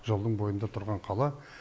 жолдың бойында тұрған қала